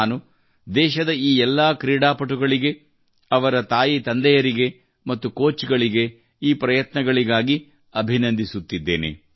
ನಾನು ದೇಶದ ಈ ಎಲ್ಲಾ ಕ್ರೀಡಾಪಟುಗಳಿಗೆ ಅವರ ತಾಯಿತಂದೆಯರಿಗೆ ಮತ್ತು ಕೋಚ್ ಗಳಿಗೆ ಈ ಪ್ರಯತ್ನಗಳಿಗಾಗಿ ಅಭಿನಂದಿಸುತ್ತಿದ್ದೇನೆ